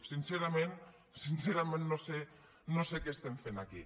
sincerament sincerament no sé què estem fent aquí